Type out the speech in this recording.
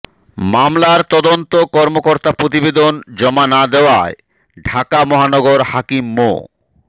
মামলার তদন্ত কর্মকর্তা প্রতিবেদন জমা না দেয়ায় ঢাকা মহানগর হাকিম মো